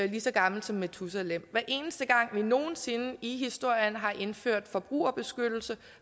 lige så gammelt som metusalem hver eneste gang vi nogen sinde i historien har indført forbrugerbeskyttelse